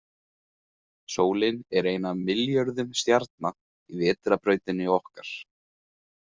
Sólin er ein af milljörðum stjarna í Vetrarbrautinni okkar.